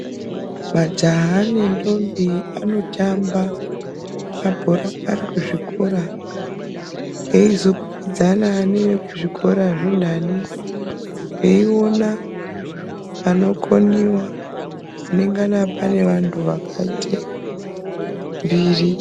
Majaha nendombi anotamba mabhora ari kuzvikora eizokwikwidzana neekuzvikora zvintani veiona panokoniwa panongana pane vantu vakaite mbiri.